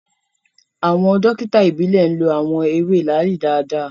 Awọn dokita ìbílè lo awọn ewe laali daadaa